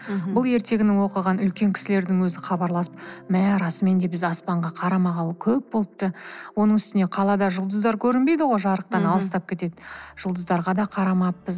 мхм бұл ертегіні оқыған үлкен кісілердің өзі хабарласып мә расымен де біз аспанға карамағалы көп болыпты оның үстіне қалада жұлдыздар көрінбейді ғой жарықтан алыстап кетеді жұлдыздарға да карамаппыз